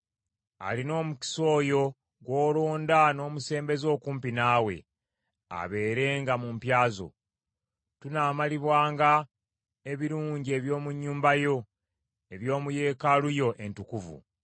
Alina omukisa oyo gw’olonda n’omusembeza okumpi naawe, abeerenga mu mpya zo. Tunaamalibwanga ebirungi eby’omu nnyumba yo; eby’omu Yeekaalu yo entukuvu.